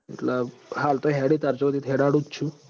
એટલ હાલ તો હેડ તાર સુધી તો હેડાડુ જ છું